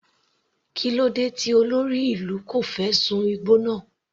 Kílódé tí olórí ìlú kò fẹ́ sun igbó náà.